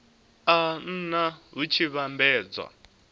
a nha hu tshi vhambedzwa